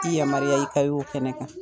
T'i yamaruya i ka y'o kɛnɛ kan.